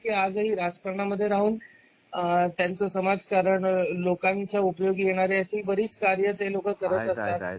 जे आज ही राजकारणामध्ये राहून त्यांच समाजकारण लोकांच्या उपयोगी येणारे अशी बरीच कार्यते लोक करत असतात.